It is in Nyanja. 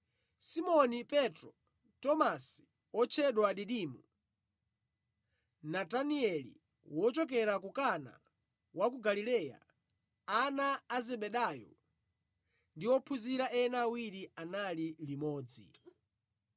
Simoni Petro, Tomasi (otchedwa Didimo), Natanieli wochokera ku Kana wa ku Galileya, ana a Zebedayo, ndi ophunzira ena awiri anali limodzi.